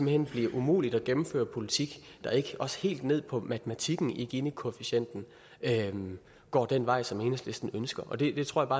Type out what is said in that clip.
hen bliver umuligt at gennemføre en politik der ikke også helt ned på matematikken i ginikoefficienten går den vej som enhedslisten ønsker og det tror